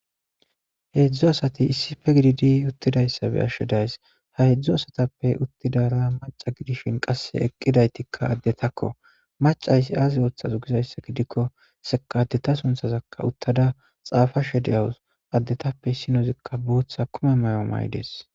heedzdzu asati issife gididi uttidayssabe ashshedays ha hedzdzu asatappe uttidara maca gidishin qasse eqqidaytikka addetakko macaysi aazi ooththaze gizayssa gidikko seka addeta sunthazakka uttada xaafashe deyawus addetappe issinozikka bootha kume may7o maydees